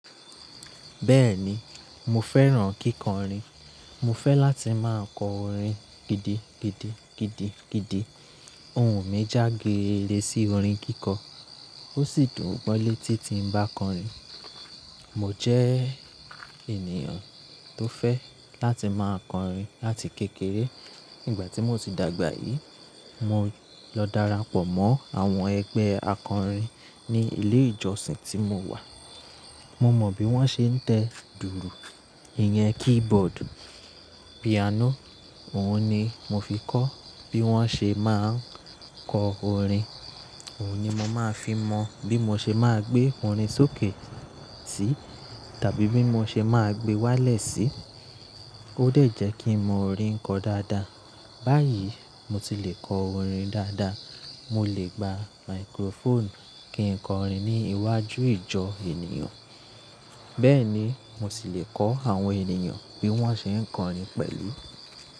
Bẹ́ẹ̀ni, mo fẹ́ràn kíkọrin. Mo fẹ́ láti máa á kọ orin gidigidi gidigidi. Ohun mi já geere sí orin kíkọ. Ó sì dùn gbọ́ létí ti ń bá kọrin. Mo jẹ́ ènìyàn tó fẹ́ láti máa kọrin láti kékeré. Ìgbà tí mo sì dàgbà yìí, mo lọ darapọ̀ mọ́ àwọn ẹgbẹ́ akọrin ní ilé ìjọsìn tí mo wà. Mo mọ bí wọ́n ṣe ń tẹ dùùrù, iyan, keyboard, piano. Ohun ni mo fi kọ́ bí wọ́n ṣe máa ń kọ orin. Ohun ni mo máa fi mọ bí mo ṣe máa gbé orin sókè sí tàbí bí mo ṣe máa gbé wálẹ̀ sí. Ó dè jẹ́ kí ń mọ orin kọ dáadáa. Báyìí mo ti lè kọ orin dáadáa. Mo lè gba microphone kí ń kọrin ní iwájú ìjọ ènìyàn. Bẹ́ẹ̀ ni, mo sì lè kọ́ àwọn ènìyàn bí wọ́n ṣe ń kọrin pẹ̀lú.